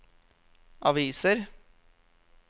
aviser